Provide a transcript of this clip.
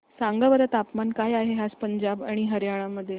सांगा बरं तापमान काय आहे आज पंजाब आणि हरयाणा मध्ये